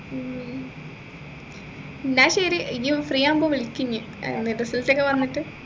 ഉം എന്ന ശരി ഇനി free ആവുമ്പൊ വിളിക്ക് ഇനി ഏർ result ഒക്കെ വന്നിട്ട്